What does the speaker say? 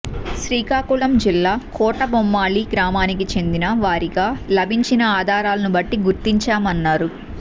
శ్రీకాకుళం జిల్లా కోటబొమ్మాళి గ్రామానికి చెందిన వారిగా లభించిన ఆధారాలను బట్టి గుర్తించామన్నారు